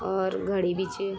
और घडी भी च।